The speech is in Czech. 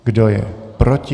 Kdo je proti?